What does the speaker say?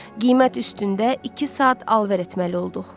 Qiymət üstündə iki saat alver etməli olduq.